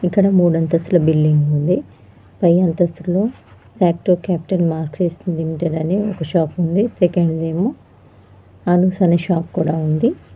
ఇక్కడ మూడు అంతస్తుల బిల్డింగ్ ఉంది పై అంతస్తు లో సాట్కో క్యాపిటల్ మార్క్సెస్ లిమిటెడ్ అనే ఒక షాప్ ఉంది సెకండ్ ఏమో అనూస్ అనే ఒక షాప్ కూడా ఉంది.